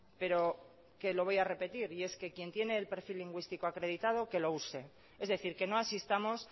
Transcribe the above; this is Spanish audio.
pero que lo voy a repetir y es que quien tiene el perfil lingüístico acreditado que lo use es decir que no asistamos